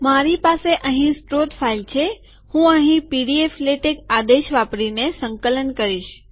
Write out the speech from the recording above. મારી પાસે અહીં સ્ત્રોત ફાઈલ છે હું અહીં પીડીએફલેટેક આદેશ વાપરીને સંકલન કરીશ